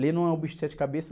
Ler não é um bicho de cabeça.